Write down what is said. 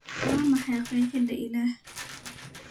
waa maxay qeexida ilaah